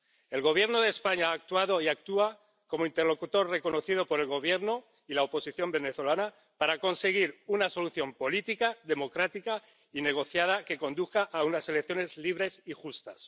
El Gobierno de España ha actuado y actúa como interlocutor reconocido por el Gobierno y la oposición venezolana para conseguir una solución política, democrática y negociada, que conduzca a unas elecciones libres y justas.